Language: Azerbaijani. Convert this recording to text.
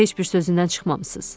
Heç bir sözündən çıxmamısınız.